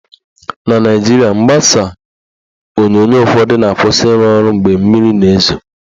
Na Naijiria, mgbasa onyonyo ụfọdụ na-akwụsị ịrụ ọrụ mgbe mmiri na-ezo